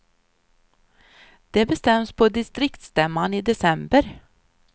Det bestäms på distriktsstämman i december.